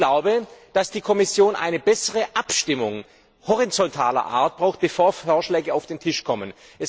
Ich glaube, dass die Kommission eine bessere Abstimmung horizontaler Art braucht, bevor Vorschläge auf den Tisch kommen.